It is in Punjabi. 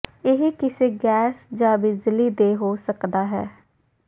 ਇਹ ਕਿਸੇ ਗੈਸ ਜ ਬਿਜਲੀ ਦੇ ਹੋ ਸਕਦਾ ਹੈ